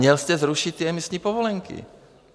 Měl jste zrušit ty emisní povolenky.